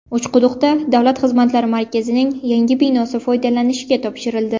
Uchquduqda Davlat xizmatlari markazining yangi binosi foydalanishga topshirildi .